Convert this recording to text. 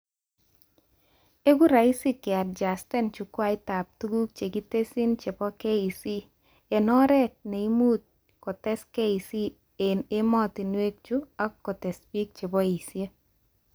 Eku raisi keadjustan chukwaitab tuguk chekitesyi chebo KEC, eng oret nemuch kotes KEC eng ematimwek chu ak kotes bik cheboishe